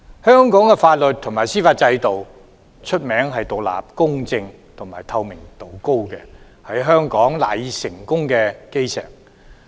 香港的法律及司法制度一向以獨立、公正和透明度高見稱，是香港賴以成功的基石。